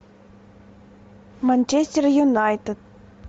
манчестер юнайтед